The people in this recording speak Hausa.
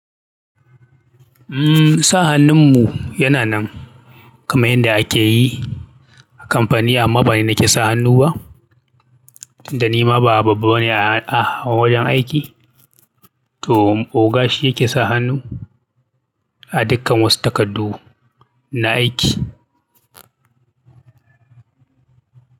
Umm sa hannun mu yana nan kamar yadda ake yi a kamfani amma ba ni nake sa hannu ba, dan ni ma ba babba bane a wajen aiki. To oga shi yake sa hannu a dukkan wasu takardu na aiki.